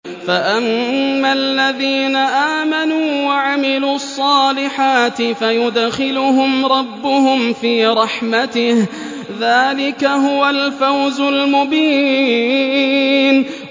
فَأَمَّا الَّذِينَ آمَنُوا وَعَمِلُوا الصَّالِحَاتِ فَيُدْخِلُهُمْ رَبُّهُمْ فِي رَحْمَتِهِ ۚ ذَٰلِكَ هُوَ الْفَوْزُ الْمُبِينُ